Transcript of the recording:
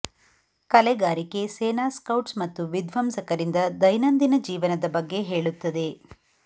ಕಲೆಗಾರಿಕೆ ಸೇನಾ ಸ್ಕೌಟ್ಸ್ ಮತ್ತು ವಿಧ್ವಂಸಕರಿಂದ ದೈನಂದಿನ ಜೀವನದ ಬಗ್ಗೆ ಹೇಳುತ್ತದೆ